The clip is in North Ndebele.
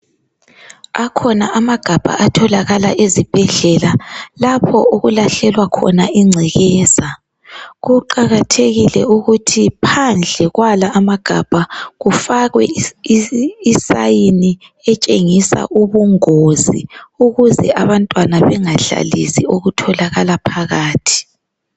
akhona amagabha atholakala ezibhedlela lapho okulahlelwa khona incekezaa kuqkathekile ukuthi phandle kwala amagabha kufakwe i sign etshengisa ubungozi ukuze abantwana bengadlalisi okutholakala phakathi